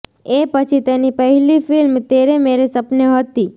એ પછી તેની પહેલી ફિલ્મ તેરે મેરે સપને હતી